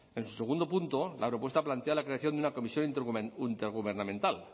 en su segundo punto la propuesta plantea la creación de una comisión intergubernamental